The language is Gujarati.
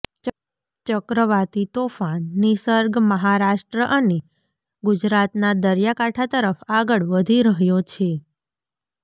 ચક્રવાતી તોફાન નિસર્ગ મહારાષ્ટ્ર અને ગુજરાતના દરિયાકાંઠા તરફ આગળ વધી રહ્યો છે